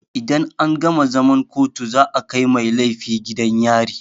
Idan an gama zaman kotu za a kai mai laifi gidan yari.